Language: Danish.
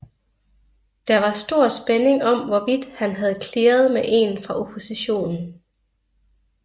Der var stor spænding om hvorvidt han havde clearet med en fra oppositionen